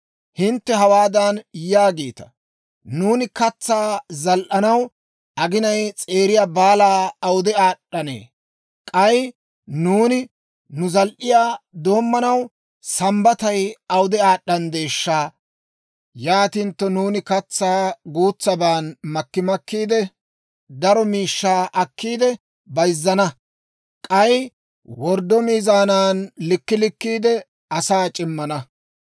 Hintte hawaadan yaagiita; «Nuuni katsaa zal"anaw aginay s'eeriya baalay awude aad'd'anee! K'ay nuuni nu zal"iyaa doommanaw Sambbatay awude aad'd'anddeeshsha! Yaatintto nuuni katsaa guutsaban makki makkiide, daro miishshaa akkiide bayizzana. K'ay worddo miizaanan likkii likkiide, asaa c'immana.